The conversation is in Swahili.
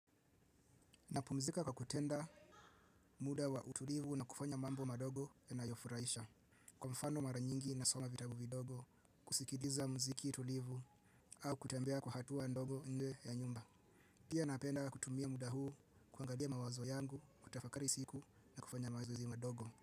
Napumzika kwa kutenda muda wa utulivu na kufanya mambo madogo yanayofuraisha. Kwa mfano mara nyingi nasoma vitabu vidogo, kusikiliza mziki tulivu au kutembea kwa hatua ndogo nje ya nyumba. Pia napenda kutumia muda huu kuangalia mawazo yangu, kutafakari siku na kufanya mazoezi madogo.